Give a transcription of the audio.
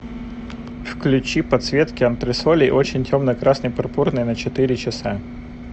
включи подсветки антресолей очень темный красно пурпурный на четыре часа